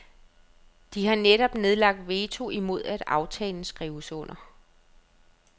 De har netop nedlagt veto imod at aftalen skrives under.